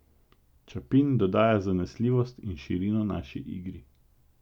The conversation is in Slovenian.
Ćapin dodaja zanesljivost in širino naši igri.